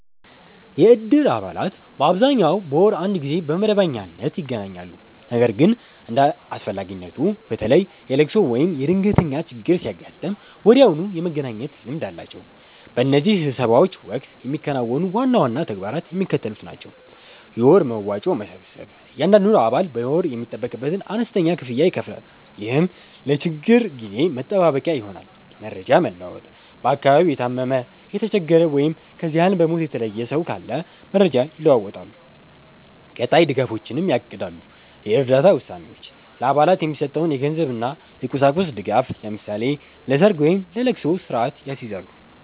የእድር አባላት በአብዛኛው በወር አንድ ጊዜ በመደበኛነት ይገናኛሉ። ነገር ግን እንደ አስፈላጊነቱ፣ በተለይ የልቅሶ ወይም የድንገተኛ ችግር ሲያጋጥም ወዲያውኑ የመገናኘት ልምድ አላቸው። በእነዚህ ስብሰባዎች ወቅት የሚከናወኑ ዋና ዋና ተግባራት የሚከተሉት ናቸው፦ የወር መዋጮ መሰብሰብ፦ እያንዳንዱ አባል በየወሩ የሚጠበቅበትን አነስተኛ ክፍያ ይከፍላል፤ ይህም ለችግር ጊዜ መጠባበቂያ ይሆናል። መረጃ መለዋወጥ፦ በአካባቢው የታመመ፣ የተቸገረ ወይም ከዚህ ዓለም በሞት የተለየ ሰው ካለ መረጃ ይለዋወጣሉ፤ ቀጣይ ድጋፎችንም ያቅዳሉ። የእርዳታ ውሳኔዎች፦ ለአባላት የሚሰጠውን የገንዘብና የቁሳቁስ ድጋፍ (ለምሳሌ ለሰርግ ወይም ለልቅሶ) ስርአት ያስይዛሉ።